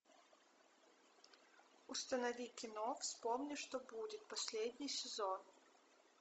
установи кино вспомни что будет последний сезон